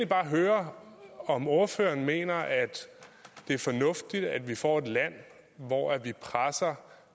bare høre om ordføreren mener det er fornuftigt at vi får et land hvor vi presser